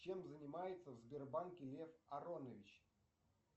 чем занимается в сбербанке лев аронович